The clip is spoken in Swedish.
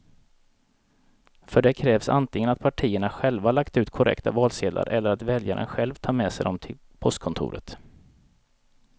För det krävs antingen att partierna själva lagt ut korrekta valsedlar eller att väljaren själv tar med sig dem till postkontoret.